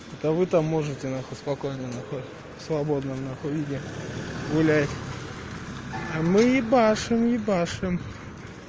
да вы там можете нахуй спокойно нахуй в свободном нахуй виде гулять а мы ебашим ебашим